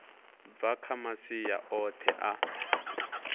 bva kha masia oṱhe a